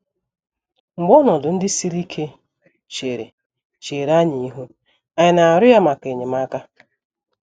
Mgbe ọnọdụ ndị siri ike chere chere anyị ihu, ànyị na - arịọ ya maka enyemaka?